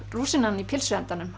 rúsínan í pylsuendanum